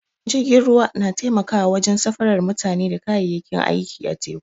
Jirgin ruwa na taimakawa wajen safara mutane da kayayyaki a teku.